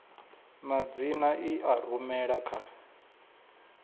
madzina i a rumela kha